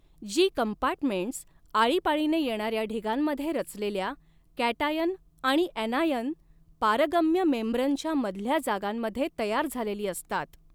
जी compartments आळीपाळीने येणाऱ्या ढिगांमध्ये रचलेल्या कॅटआयन आणि ऍनायन पारगम्य मेम्ब्रेनच्या मधल्या जागांमध्ये तयार झालेली असतात.